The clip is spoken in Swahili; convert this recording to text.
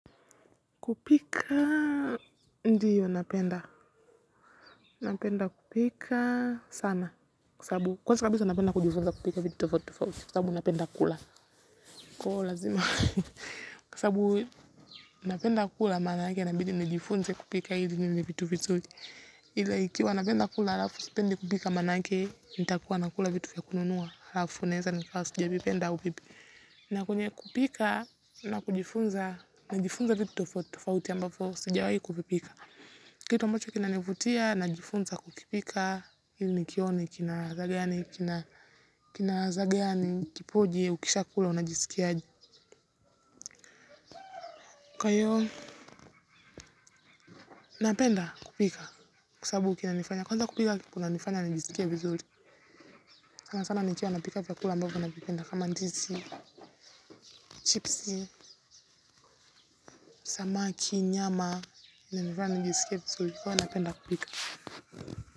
Kupika ndio napenda. Napenda kupika sana kwa sababu napenda kujifunza kupika vitu tofauti tofauti, kwa sababu kwa sababu napenda kula. Kwa hivo lazima. Kwa sababu, napenda kula manaake inabidi nijifunze kupika ili nile vitu vizuri. Hila ikiwa napenda kula halafu sipendi kupika manaake nitakuwa nakula vitu vya kununua halafu naweza kuwa sijazipenda au vipi. Nakwambia kupika. Ila, ninapojifunza, najifunza vitu tofauti tofauti ambapo sijawahi kuvipika. Kitu ambacho kinanivutia najifunza kukipika ili nione kila ladha gani, kipoje ushakula. Unajisikia aje? Napenda kupika kwa sabubu kunanifanya, kwanza kupika kunanifanya nijisikie vizuri, sana sana nikiwa napika vyakula ambavyo navipenda kama ndizi, chipsi, samaki, nyama, inanifanya nijisikie vizuri kwa hivo napenda kupika.